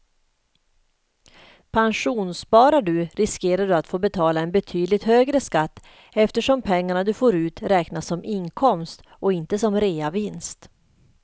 Pensionssparar du riskerar du att få betala en betydligt högre skatt eftersom pengarna du får ut räknas som inkomst och inte som reavinst.